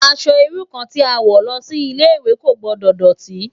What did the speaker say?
Aṣò irú kàn ti ó n wò lòsi Ilé iwé kó gbòdò dòtí